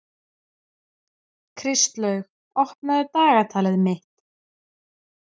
Kristlaug, opnaðu dagatalið mitt.